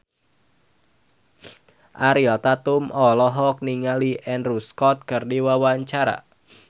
Ariel Tatum olohok ningali Andrew Scott keur diwawancara